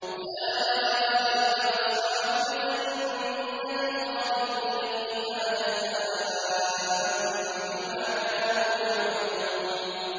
أُولَٰئِكَ أَصْحَابُ الْجَنَّةِ خَالِدِينَ فِيهَا جَزَاءً بِمَا كَانُوا يَعْمَلُونَ